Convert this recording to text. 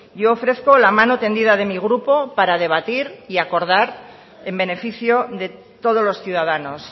yo ofrezco la mano tendida de mi grupo para debatir y acordar en beneficio de todos los ciudadanos